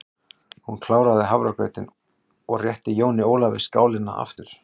Hún kláraði hafragrautinn og rétti Jóni Ólafi skálina aftur.